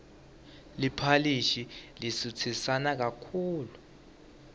liphalishi lisutsisana kakhulu